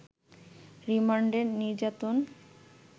রিমান্ডে নির্যাতন